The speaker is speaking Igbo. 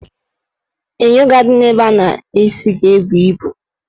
Enyo ga-adị n' ebe a na-akpụ isi ga-ebu ibu